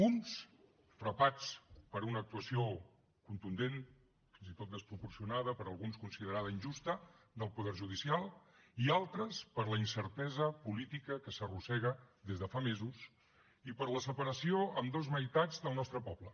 uns frapats per una actuació contundent fins i tot desproporcionada per alguns considerada injusta del poder judicial i altres per la incertesa política que s’arrossega des de fa mesos i per la separació en dos meitats del nostre poble